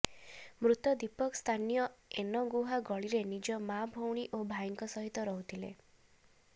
ମୃତ ଦୀପକ ସ୍ଥାନୀୟ ଏନ ଗୁହା ଗଳିରେ ନିଜ ମା ଭଉଣୀ ଓ ଭାଇଙ୍କ ସହିତ ରହୁଥିଲେ